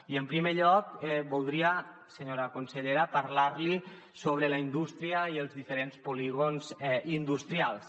i en primer lloc voldria senyora consellera parlar li sobre la indústria i els diferents polígons industrials